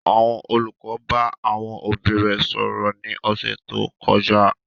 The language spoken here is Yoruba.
Àwọn olùkọ́ bá àwọn òbí rẹ̀ sọ̀rọ̀ ní ọ̀sẹ̀ tó kọjá